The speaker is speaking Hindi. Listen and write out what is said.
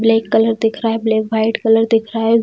ब्लैक कलर दिख रहा है | ब्लैक वाइट कलर दिख रहा है |